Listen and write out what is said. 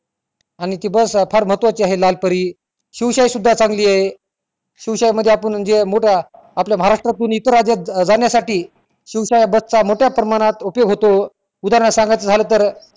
आणि तो बस फार महत्वाची आहे लालपरी शिवशाही सुद्धा पण चांगली आहे शिवशाही मध्ये जे आपुन मोठा अह आपल्या महाराष्ट्रा तुन इतर राज्यात जाण्यासाठी शिवशाही बस चा मोट्या प्रमाणात उपयोग होतो उदाहरण सांगायचा झाल तर